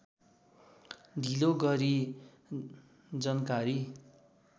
ढिलो गरी जनकारी